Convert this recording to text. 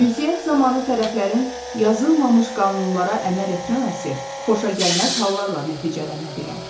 Ünsiyyət zamanı tərəflərin yazılmamış qanunlara əməl etməməsi xoşagəlməz hallarla nəticələnə bilər.